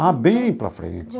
Ah, bem para frente.